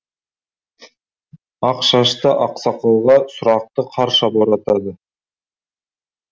ақ шашты ақсақалға сұрақты қарша боратады